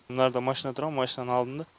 мынарда машина тұрған машинаны алдым да